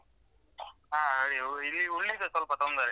ಹಾ ಹು ಇಲ್ಲಿ ಹುಲ್ಲಿದ್ದೆ ಸ್ವಲ್ಪ ತೊಂದರೆ.